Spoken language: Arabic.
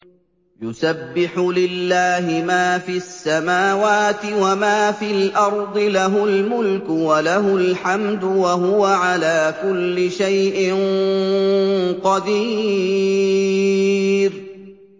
يُسَبِّحُ لِلَّهِ مَا فِي السَّمَاوَاتِ وَمَا فِي الْأَرْضِ ۖ لَهُ الْمُلْكُ وَلَهُ الْحَمْدُ ۖ وَهُوَ عَلَىٰ كُلِّ شَيْءٍ قَدِيرٌ